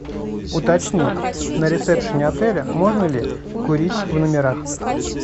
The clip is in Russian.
уточни на ресепшене отеля можно ли курить в номерах